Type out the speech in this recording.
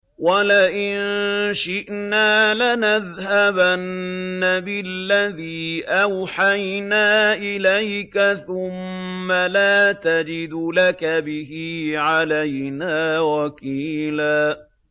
وَلَئِن شِئْنَا لَنَذْهَبَنَّ بِالَّذِي أَوْحَيْنَا إِلَيْكَ ثُمَّ لَا تَجِدُ لَكَ بِهِ عَلَيْنَا وَكِيلًا